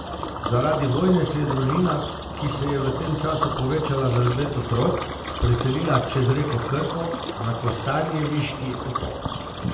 Zaradi vojne se je družina, ki se je v tem času povečala za devet otrok, preselila čez reko Krko, na kostanjeviški otok.